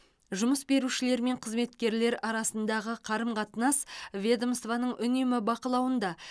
жұмыс берушілер мен қызметкерлер арасындағы қарым қатынас ведомствоның үнемі бақылауында